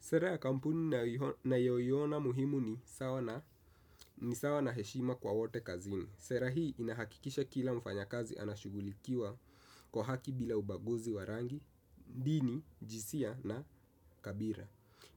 Sera ya kampuni nayoyona muhimu ni sawa na heshima kwa wote kazini. Sera hii inahakikisha kila mfanya kazi anashughulikiwa kwa haki bila ubaguzi wa rangi, dini, jinsia na kabila.